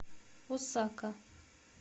осака